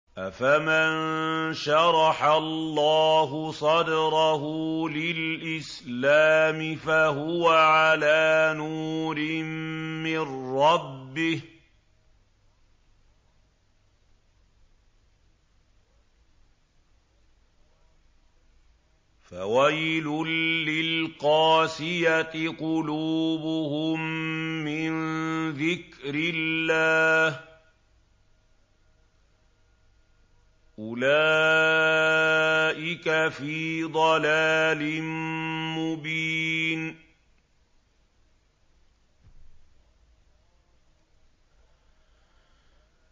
أَفَمَن شَرَحَ اللَّهُ صَدْرَهُ لِلْإِسْلَامِ فَهُوَ عَلَىٰ نُورٍ مِّن رَّبِّهِ ۚ فَوَيْلٌ لِّلْقَاسِيَةِ قُلُوبُهُم مِّن ذِكْرِ اللَّهِ ۚ أُولَٰئِكَ فِي ضَلَالٍ مُّبِينٍ